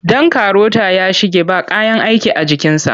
Ɗan karota ya shige ba kayan aiki a jikinsa.